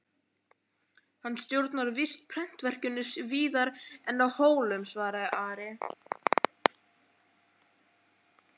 Hann stjórnar víst prentverkinu víðar en á Hólum, svaraði Ari.